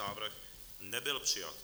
Návrh nebyl přijat.